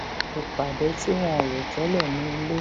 ìpàdé tí wọn ò rò télè ní ilé